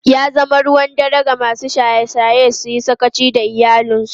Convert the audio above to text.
Ya zama ruwan dare ga masu shaye-shaye su yi sakaci da iyalansu.